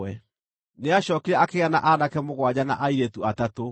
Nĩacookire akĩgĩa na aanake mũgwanja na airĩtu atatũ.